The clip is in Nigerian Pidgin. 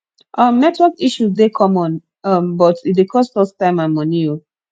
um network issue dey common um but e dey cost us time and money oh